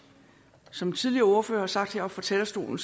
som tidligere ordførere har sagt her fra talerstolen